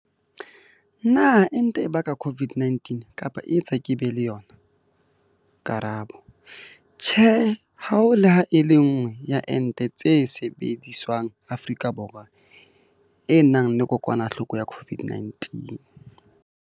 Potso- Na ente e baka COVID-19 kapa e etsa ke be le yona? Karabo- Tjhe. Ha ho le ha e le nngwe ya ente tse sebediswang Afrika Borwa e nang le kokwanahloko ya COVID-19.